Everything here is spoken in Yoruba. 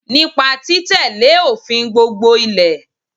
Nípa tí tẹ́lé òfin gbogbo Ilẹ̀